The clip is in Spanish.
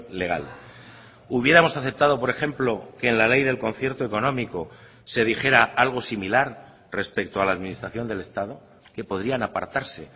legal hubiéramos aceptado por ejemplo que en la ley del concierto económico se dijera algo similar respecto a la administración del estado que podrían apartarse